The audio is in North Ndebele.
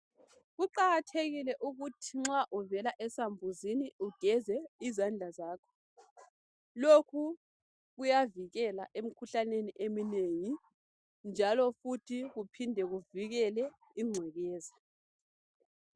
Kuqakathekile ukuthi nxa uvela esambuzini ugeze izandla zakho. Lokhu kuyavikela emkhuhlaneni eminengi, njalofuthi kuphinde kuvikele ingcekeza.